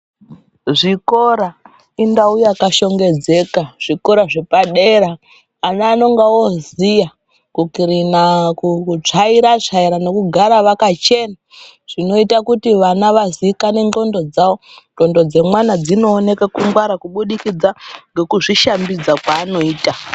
Zvikora indau yakashongedzeka zvikora zvepadera ana anonga oziya kukirina kutsvaira tsvaira nekugara vakachena zvinoita kuti vana vazikanwa ngonxo dzawo ngonxo dzemwana dzinoonekwa kungwara kuburikidza nekuzvishambidza zvavanoita.